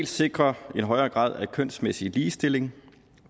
sikre en højere grad af kønsmæssig ligestilling